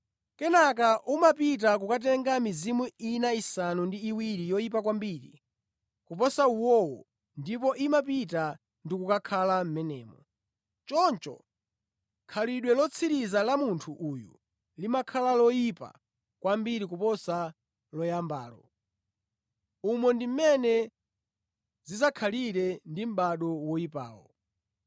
Kenaka umapita kukatenga mizimu ina isanu ndi iwiri yoyipa kwambiri kuposa uwowo ndipo imapita ndi kukakhala mʼmenemo. Choncho khalidwe lotsiriza la munthu uyu limakhala loyipa kwambiri kuposa loyambalo. Umo ndi mmene zidzakhalire ndi mʼbado oyipawu.”